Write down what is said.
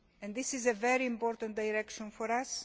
This is a very important direction for us.